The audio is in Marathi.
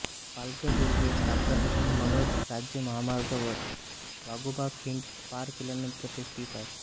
पालघर रेल्वे स्थानकापासून मनोर राज्य महामार्गावर वाघोबा खिंड पार केल्यानंतर हे स्थित आहे